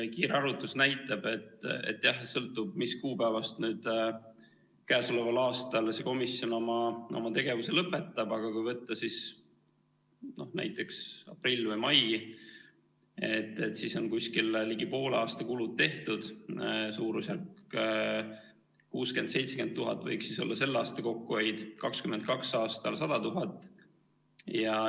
Kiire arvutus näitab, et sõltub, mis kuupäevast nüüd käesoleval aastal see komisjon oma tegevuse lõpetab, aga kui võtta näiteks aprill või mai, siis on ligi poole aasta kulud tehtud, suurusjärk 60 000 – 70 000 võiks olla selle aasta kokkuhoid, 2022. aastal 100 000.